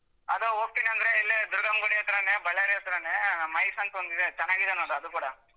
ಅದೇ ಹೋಗ್ತಿನಂದ್ರೆ ಇಲ್ಲೇ ದುರ್ಗಮ್ಮ ಗುಡಿ ಹತ್ರನೇ ಬಳ್ಳಾರಿ ಹತ್ರನೇ MICE ಅಂತೊಂದಿದೆ ಚೆನ್ನಾಗಿದೆ ನೋಡು ಅದು ಕೂಡಾ.